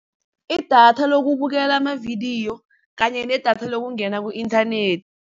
Idatha lokubukela amavidiyo, kanye nedatha lokungena ku-inthanethi.